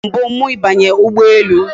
O bu mbu m ibanye ugbo ele